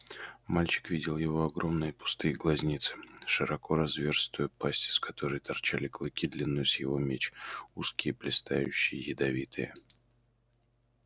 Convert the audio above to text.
мальчик видел его огромные пустые глазницы широко разверстую пасть из которой торчали клыки длиной с его меч узкие блистающие ядовитые